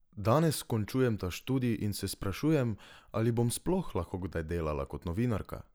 Danes končujem ta študij in se sprašujem, ali bom sploh lahko kdaj delala kot novinarka?